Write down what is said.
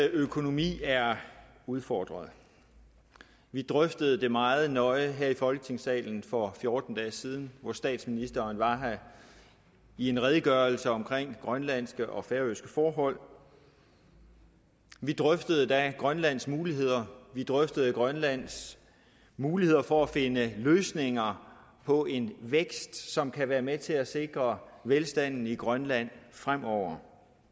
økonomi er udfordret vi drøftede det meget nøje her i folketingssalen for fjorten dage siden hvor statsministeren var her i en redegørelse om grønlandske og færøske forhold vi drøftede da grønlands muligheder vi drøftede grønlands muligheder for at finde løsninger på en vækst som kan være med til at sikre velstanden i grønland fremover